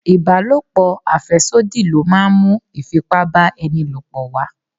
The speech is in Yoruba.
Ibalopo afesodi ló máa ń mú Ifipá-ba-eni-lopo wá.